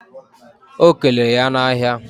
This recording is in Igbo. O keleere ya na ahia